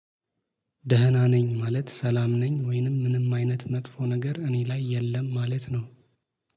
ደህና ነኝ ማለት ሰላም ነኝ ወይንም ምንም አይነት መጥፎ ነገር እኔ ላይ የለም ማለት ነው።